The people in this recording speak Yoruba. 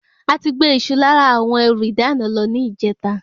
Ati gbé Isu lára àwọn ẹrù ìdáná lọ ni ijeta